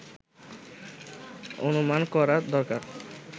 অনুমান করা দরকার